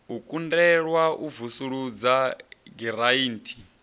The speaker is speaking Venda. u kundelwa u vusuludza giranthi